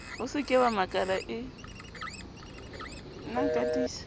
o se ke wamakala e